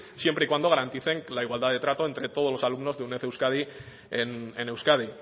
siempre y cuando garanticen que la igualdad de trato entre todos los alumnos de uned euskadi en euskadi